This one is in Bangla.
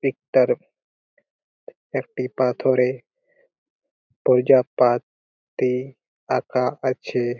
পিক -টার একটি পাথরে পর্যাপাত ই আঁকা আছে।